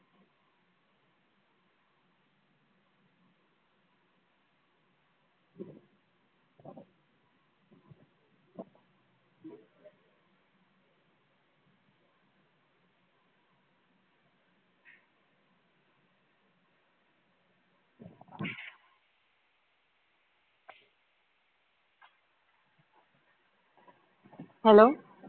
hello